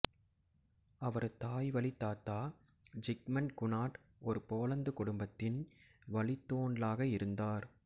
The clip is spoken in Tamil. அவரது தாய் வழி தாத்தா ஜிக்மண்ட் குனாட் ஒரு போலந்து குடும்பத்தின் வழித்தோன்லாக இருந்தார்